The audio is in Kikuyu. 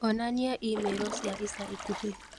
onania i-mīrū cia ica ikuhĩ